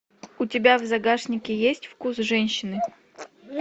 у тебя в загашнике есть вкус женщины